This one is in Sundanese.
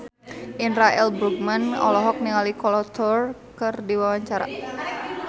Indra L. Bruggman olohok ningali Kolo Taure keur diwawancara